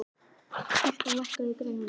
Gústaf, lækkaðu í græjunum.